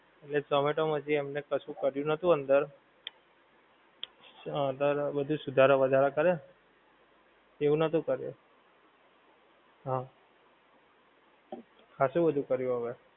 એ ઝોમેટોમાં હજી એમને કશું કર્યું નોતું અંદર. અંદર બધુ સુધારા વધારા કર્યા. એવું નોતું કર્યું. હં. ખાસું બધુ કર્યું હવે.